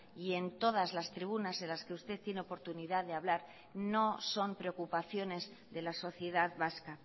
y en todas las tribunas en las que usted tiene oportunidad de hablar no son preocupaciones de la sociedad vasca